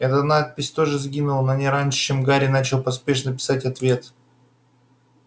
эта надпись тоже сгинула но не раньше чем гарри начал поспешно писать ответ